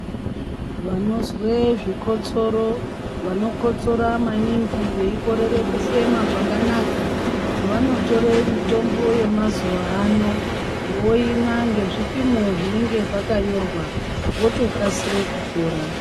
Vanozwe zvikotsoro vanokotora maningi vanokorere kufema kwakanaka. Vanotore mitombo yemazuva ano voimwa ngezvipimo zvinenge zvakanyorwa votokasire kupora.